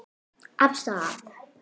Af stað!